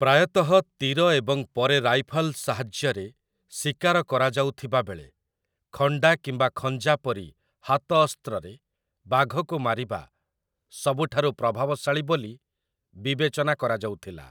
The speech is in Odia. ପ୍ରାୟତଃ ତୀର ଏବଂ ପରେ ରାଇଫଲ୍ ସାହାଯ୍ୟରେ ଶିକାର କରାଯାଉଥିବାବେଳେ, ଖଣ୍ଡା କିମ୍ବା ଖଞ୍ଜା ପରି ହାତ ଅସ୍ତ୍ରରେ ବାଘକୁ ମାରିବା ସବୁଠାରୁ ପ୍ରଭାବଶାଳୀ ବୋଲି ବିବେଚନା କରାଯାଉଥିଲା ।